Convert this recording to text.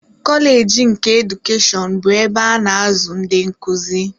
Koleeji nke Edukeshọn bụ ebe a na-azụ ndị nkuzi.